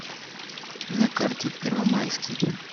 на карте первомайский